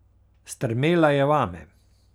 Strmela je vame.